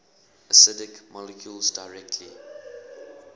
acidic molecules directly